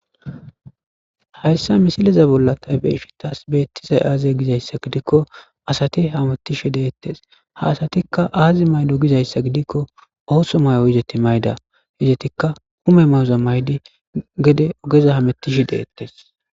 Haysa misileza bollan ta be'ishn tas betizay aze gizaysa gidikon asati hamutishe de'etes, ha asatika aazi mayido gizaysa gidikon ootho mayo izeti mayida. Etika ume mayoza mayidi gede ogeza hamutishe de'etes.